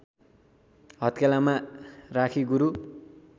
हत्केलामा राखी गुरु